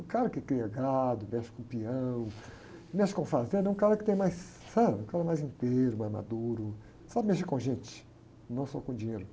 Um cara que cria gado, mexe com peão, mexe com fazenda, um cara que tem mais... Sabe? Um cara mais inteiro, mais maduro, sabe mexer com gente, não só com dinheiro.